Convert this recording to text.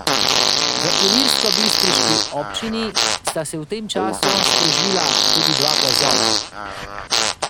V ilirskobistriški občini sta se v tem času sprožila tudi dva plazova.